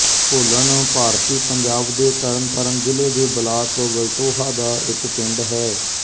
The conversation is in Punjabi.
ਢੋਲਣ ਭਾਰਤੀ ਪੰਜਾਬ ਦੇ ਤਰਨਤਾਰਨ ਜ਼ਿਲ੍ਹੇ ਦੇ ਬਲਾਕ ਵਲਟੋਹਾ ਦਾ ਇੱਕ ਪਿੰਡ ਹੈ